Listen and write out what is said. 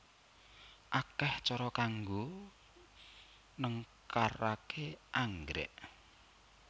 Akeh cara kanggo nengkaraké anggrék